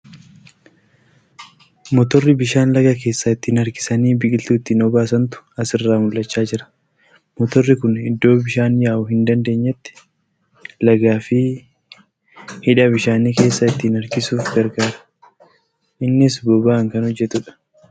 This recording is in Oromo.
Motorri bishaan laga keessaa ittiin harkisanii biqiltuu ittiin obaasantu as irraa mul'achaa jira . Motorri kun iddoo bishaan yaa'uu hin dandeenyetti lagaa fi hidha bishaanii keessaa ittiin harkisuuf gargaara. Innis boba'aan kan hojjatuudha.